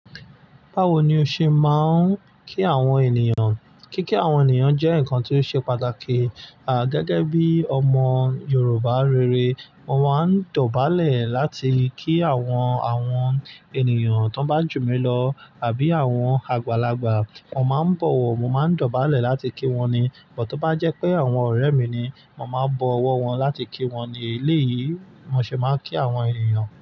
Báwo ni o ṣe máa ń kí àwọn ènìyàn? Kíkí àwọn ènìyàn jẹ́ nǹkan tí ó ṣe pàtàkì. À, gẹ́gẹ́ bí ọmọ Yorùbá rere, mo máa ń dọ̀bálẹ̀ láti kí àwọn, àwọn ènìyàn tó bá jù mí lọ àbí àwọn àgbàlagbà. Wọ́n máa ń bọ̀wọ̀, mo máa ń dọ̀bálẹ̀ láti kí wọ́n ni. But tó bá jẹ́ pé àwọn ọ̀rẹ́ mi ni, mo máa ń bọ ọwọ́ wọn láti kí wọn ni. Eléyìí ni mo ṣe máa ń kí àwọn ènìyàn.